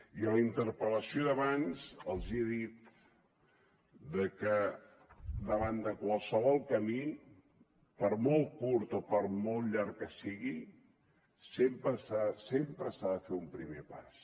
i a la interpel·lació d’abans els he dit que davant de qualsevol camí per molt curt o per molt llarg que sigui sempre s’ha de fer un primer pas